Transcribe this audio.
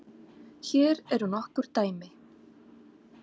Hér eru nokkur dæmi